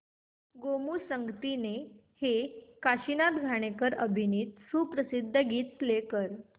गोमू संगतीने हे काशीनाथ घाणेकर अभिनीत सुप्रसिद्ध गीत प्ले कर